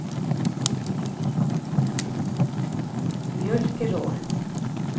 Mjølkeråen